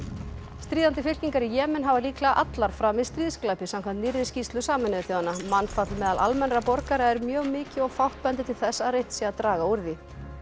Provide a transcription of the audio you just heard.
stríðandi fylkingar í Jemen hafa líklega allar framið stríðsglæpi samkvæmt nýrri skýrslu Sameinuðu þjóðanna mannfall meðal almennra borgara er mjög mikið og fátt bendir til þess að reynt sé að draga úr því